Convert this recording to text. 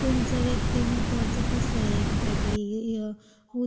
म्हणजे तुमचं व्यक्तिमत्त्वाचं कसं आहे एकझॅक्टली हे..उत